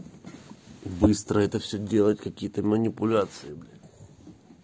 быстро это все делать какие-то манипуляции блин